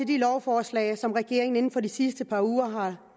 de lovforslag som regeringen inden for de sidste par uger har